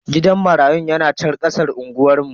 Gidan marayun na chan kasan unguwar mu.